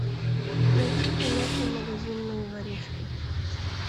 найти киноху магазинные воришки